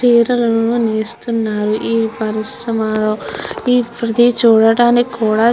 చిరాలను నేస్తునారు ఈ పరిశ్రమ ఇది చూడానికి కూడా --